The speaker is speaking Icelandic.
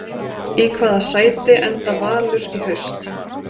Í hvaða sæti enda Valur í haust?